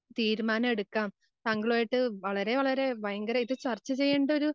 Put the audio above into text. തീരുമാനമെടുക്കാം. താങ്കളുമാ ആയിട്ട് വളരെ വളരെ ഭയങ്കരായിട്ട് ചർച്ച ചെയ്യണ്ടൊരു